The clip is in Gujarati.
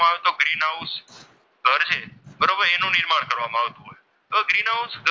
તો ગ્રીન હાઉસ,